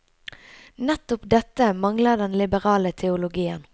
Nettopp dette mangler den liberale teologien.